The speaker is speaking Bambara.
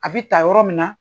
A bi ta yɔrɔ min na.